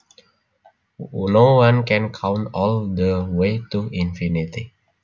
No one can count all the way to infinity